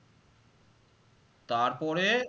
তারপরে